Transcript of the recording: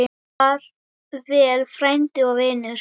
Far vel frændi og vinur.